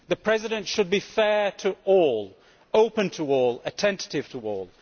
The President should be fair to all, open to all, attentive to all.